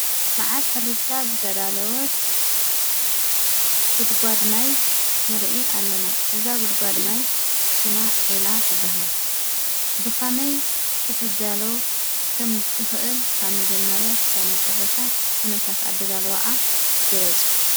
ብበዓል ሕርሻ ዝተዳለወት ጉድጓድ ማይ ንርኢ ኣለና፡፡ እዛ ጉድጓድ ማይ ሽማ ዒላ ትበሃል፡፡ ብኸመይ ክትዳሎ ከምትኽእል ካብ መጀመርያ እስካብ መጨረሻ ኩነታት ኣደላልዋኣ ግለፁ?